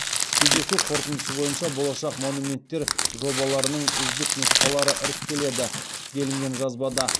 кездесу қорытындысы бойынша болашақ монументтер жобаларының үздік нұсқалары іріктелді делінген жазбада